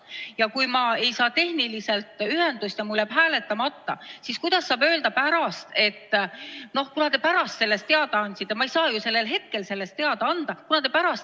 Ja kui ma ei saa tehnilisel põhjusel ühendust ja mul jääb hääletamata, siis kuidas saab öelda, et kuna te andsite sellest teada alles pärast, siis hääletustulemus kehtib?